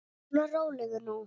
Svona, rólegur nú.